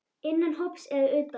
Innan hóps eða utan.